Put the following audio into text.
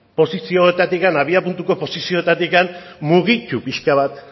posizioetatik abiapuntuko posizioetatik mugitu piska bat